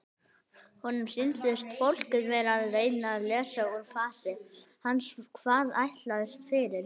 Honum sýndist fólkið vera að reyna að lesa úr fasi hans hvað hann ætlaðist fyrir.